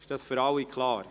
Ist dies für alle klar?